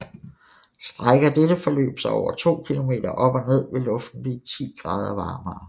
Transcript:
Strækker dette forløb sig over 2 km op og ned vil luften blive 10 grader varemere